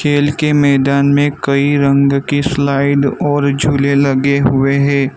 खेल के मैदान में कई रंग की स्लाइड और झूले लगे हुवे हैं।